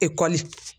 Ekɔli